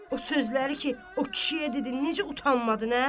O sözləri ki, o kişiyə dedi, necə utanmadı nə?